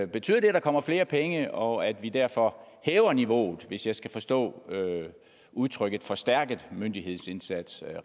betyder det at der kommer flere penge og at vi derfor hæver niveauet hvis jeg skal forstå udtrykket forstærket myndighedsindsats